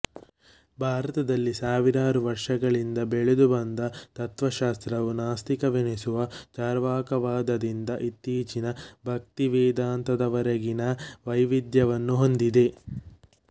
ಭಾರತದಲ್ಲಿ ಸಾವಿರಾರು ವರ್ಷಗಳಿಂದ ಬೆಳೆದು ಬಂದ ತತ್ತ್ವಶಾಸ್ತ್ರವು ನಾಸ್ತಿಕವೆನಿಸುವ ಚರ್ವಾಕವಾದದಿಂದ ಇತ್ತೀಚಿನ ಭಕ್ತಿವೇದಾಂತದವರೆಗಿನ ವೈವಿಧ್ಯವನ್ನು ಹೊಂದಿದೆ